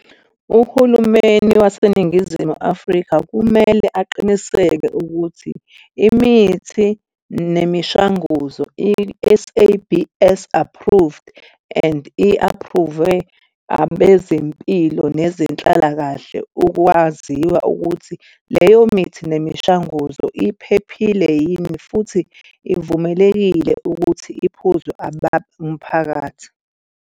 Uhulumeni waseNingizimu Afrika kumele aqiniseke ukuthi imithi nemishanguzo i-S_A_B_S approved and i-aphruvwe abezempilo nezenhlalakahle ukwaziwa ukuthi leyo mithi nemishanguzo iphephile yini futhi ivumelekile ukuthi iphuzwe umphakathi.